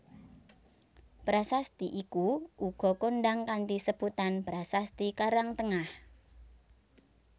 Prasasti iku uga kondhang kanthi sebutan prasasti Karangtengah